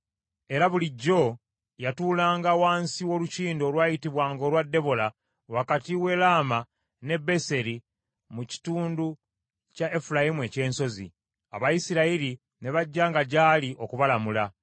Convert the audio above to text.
Era bulijjo yatuulanga wansi w’olukindu olwayitibwanga olwa Debola wakati w’e Lama ne Beseri mu kitundu kya Efulayimu eky’ensozi: Abayisirayiri ne bajjanga gyali okubalamula.